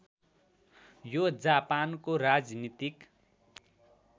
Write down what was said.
यो जापानको राजनीतिक